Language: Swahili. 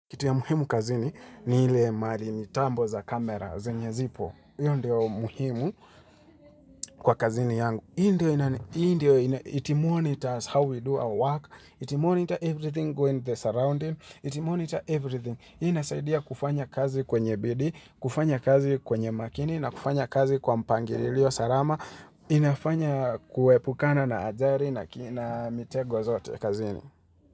Kitu ya muhimu kazini ni ile mali mitambo za kamera zenye zipo. Hiyo ndio muhimu kwa kazini yangu. Hiyo ndio it monitors how we do our work. It monitor everything going in the surrounding. It monitor everything. Hiyo inasaidia kufanya kazi kwenye bidii, kufanya kazi kwenye makini na kufanya kazi kwa mpangilio salama. Inafanya kuepukana na ajali na kina mitego zote kazini.